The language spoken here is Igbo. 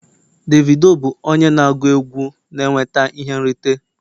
Davido bụ onye na-agụ egwu na-enweta ihe nrite